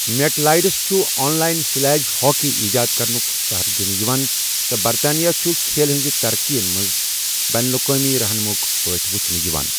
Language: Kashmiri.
میٹ لائیڈس چھُ ان لائن سلیج ہاکی ایجاد کرنُک سہرا دِنہٕ یِوان، تہٕ برطانیہ چھُ کھیل ہنٛز ترقی منٛز بین الاقوٲمی رہنما ہٕک پٲٹھۍ وُچھنہٕ یِوان۔